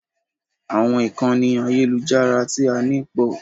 Àwọn ìkànnì àyẹ́lujára tí a ní pọ̀.